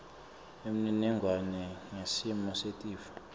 umniningwane ngesimo setifo